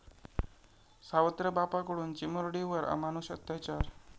सावत्र बापाकडून चिमुरडीवर अमानुष अत्याचार